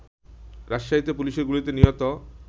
রাজশাহীতে পুলিশের গুলিতে নিহত